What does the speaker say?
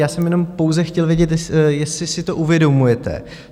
Já jsem jenom pouze chtěl vědět, jestli si to uvědomujete.